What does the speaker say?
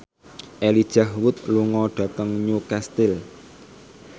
Elijah Wood lunga dhateng Newcastle